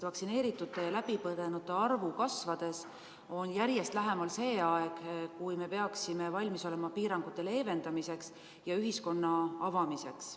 Vaktsineeritute ja läbipõdenute arvu kasvades on järjest lähemal see aeg, kui me peaksime valmis olema piirangute leevendamiseks ja ühiskonna avamiseks.